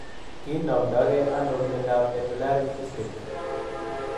kinomdoge ano miondap medullary cystic.